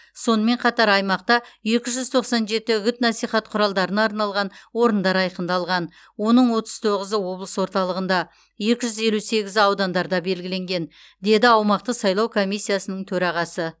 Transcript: сонымен қатар аймақта екі жүз тоқсан жеті үгіт насихат құралдарына арналған орындар айқындалған оның отыз тоғызы облыс орталығында екі жүз елу сегізі аудандарда белгіленген деді аумақтық сайлау комиссиясының төрағасы